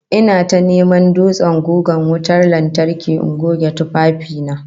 Ina ta neman dutsen gugan wutan lantarki in goge tufafi na